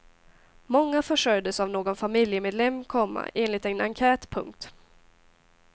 Många försörjdes av någon familjemedlem, komma enligt en enkät. punkt